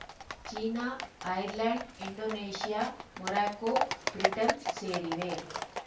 China Ireland Indonesia Morocco Britain ಸೇರಿವೆ